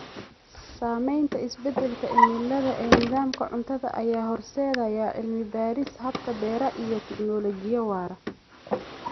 Saamaynta isbeddelka cimilada ee nidaamka cuntada ayaa horseedaya cilmi-baarista hababka beeraha iyo teknoolojiyadda waara.